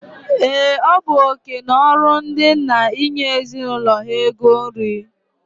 Ee, ọ bu oké na ọrụ ndị nna inye ezinụlọ ha ego nri.